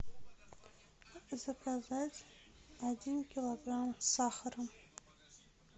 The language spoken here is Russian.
заказать один килограмм сахара